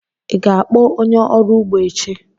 Ị ga-akpọ onye ọrụ ugbo echi?